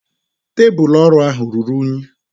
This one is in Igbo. Tebụl ọrụ ahụ ruru unyi.